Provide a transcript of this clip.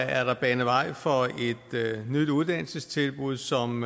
er der banet vej for et nyt uddannelsestilbud som